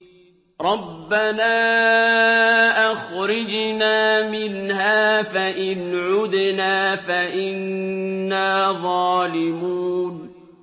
رَبَّنَا أَخْرِجْنَا مِنْهَا فَإِنْ عُدْنَا فَإِنَّا ظَالِمُونَ